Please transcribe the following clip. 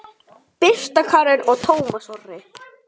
Birta Karen og Tómas Orri.